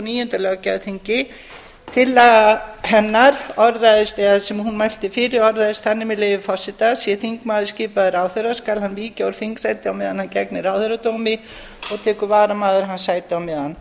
níunda löggjafarþingi tillagan sem hún mælti fyrir orðaðist þannig með leyfi forseta sé þingmaður skipaður ráðherra skal hann víkja úr þingsæti á meðan hann gegnir ráðherradómi og tekur varamaður hans sætið á meðan